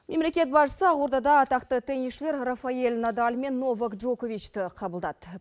мемлекет басшысы ақордада атақты тенисшілер рафаэль надаль мен нова джоковичті қабылдады